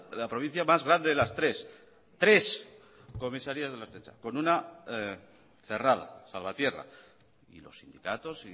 la provincia más grande de las tres tres comisarías de la ertzaintza con una cerrada salvatierra y los sindicatos